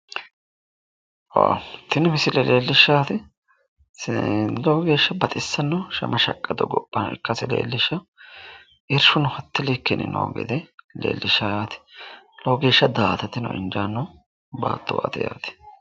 Tini musile leellishshaari lowo geeshsha baxissano shama shaqqado gobva ikkase leelkishshawo yaate oowo geeshsha da'atateno injaanno baattuwaati yaaten